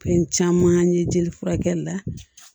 Fɛn caman ye jeli furakɛli la